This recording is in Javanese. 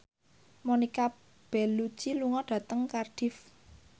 Monica Belluci lunga dhateng Cardiff